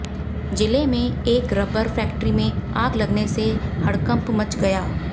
जिले में एक रबर फैक्ट्री में आग लगने से हड़कंप मच गया